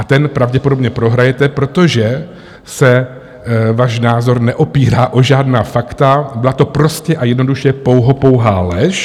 A ten pravděpodobně prohrajete, protože se váš názor neopírá o žádná fakta, byla to prostě a jednoduše pouhopouhá lež.